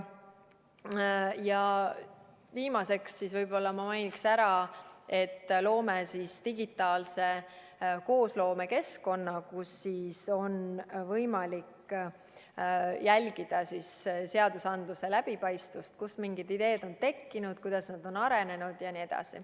Ja viimaseks mainiksin ära, et loome digitaalse koosloome keskkonna, kus on võimalik jälgida seadusandluse läbipaistvust ja seda, kust on mingid ideed tekkinud, kuidas need on arenenud jne.